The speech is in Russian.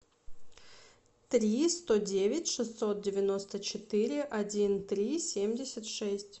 три сто девять шестьсот девяносто четыре один три семьдесят шесть